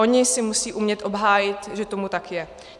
Oni si musí umět obhájit, že tomu tak je.